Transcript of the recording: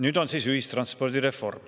Nüüd on siis ühistranspordireform.